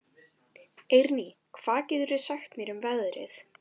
Eirný, hvað geturðu sagt mér um veðrið?